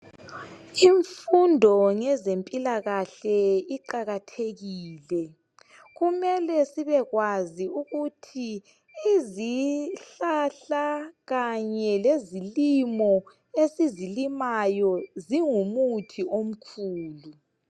Imfundo ngezempilakahle iqakathekile. Kumele sibekwazi ukuthi izihlahla kanye lezilimo esizilimayo zingumuthi omkhulu